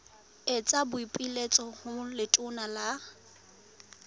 etsa boipiletso ho letona la